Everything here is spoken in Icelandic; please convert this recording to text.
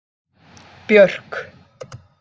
Björk